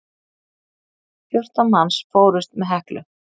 Fjórtán manns fórust með Heklu.